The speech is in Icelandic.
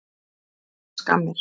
Fær hann skammir?